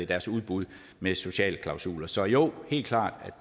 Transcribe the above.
deres udbud med sociale klausuler så jo helt klart